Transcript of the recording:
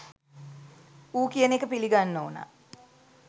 ඌ කියන එක පිලිගන්න ඕනා